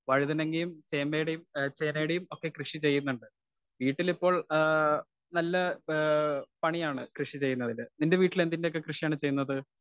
Speaker 1 വഴുതനങ്ങയും, ചേമയുടെയും ആ ചേനയുടെയും കൃഷി ചെയ്യുന്നുണ്ട് വീട്ടിലിപ്പോൾ ആ നല്ല ആ പണിയാണ്. കൃഷി ചെയ്യുന്നതില് നിന്റെ വീട്ടിൽ എന്തിന്റെയെല്ലാം കൃഷി ആണ് ചെയ്യുന്നത്.